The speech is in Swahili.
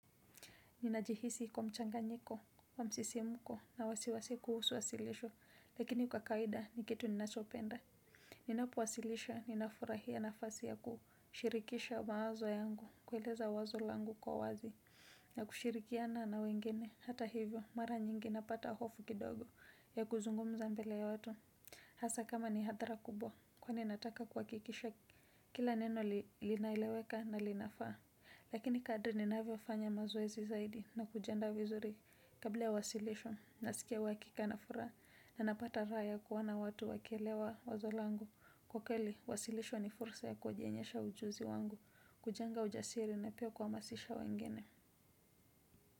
Ninajihisi kuwa mchanganyiko wa msisimuko na wasiwasi kuhusu wasilisho lakini kwa kaida ni kitu ninachopenda. Ninapowasilisha ninafurahia nafasi ya kuhushirikisha mawazo yangu, kweleza wazo langu kwa wazi. Na kushirikiana na wengine hata hivyo mara nyingi napata hofu kidogo ya kuzungumza mbele ya watu. Hasa kama ni hatara kubwa kwani nataka kwakikisha kila neno linaeleweka na linafaa. Lakini kadri ninaviofanya mazoezi zaidi na kujianda vizuri kabla ya wasilisho nasikia wakika na fura na napata raya kuwona watu wakielewa wazo langu. Kokeli, wasilisho ni fursa ya kujionyesha ujuzi wangu, kujenga ujasiri na pia kwa masisha wengine.